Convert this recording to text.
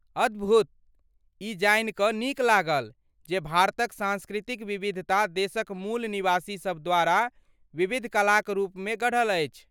अद्भुत! ई जानि क नीक लागल जे भारतक सांस्कृतिक विविधता देशक मूल निवासी सभ द्वारा विविध कलाक रूपमे गढ़ल अछि।